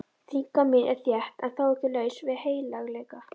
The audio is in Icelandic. Þynnka mín er þétt en þó ekki laus við heilagleika.